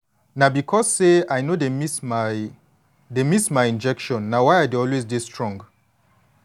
na because say i no dey miss my dey miss my injection na why i dey always dey strong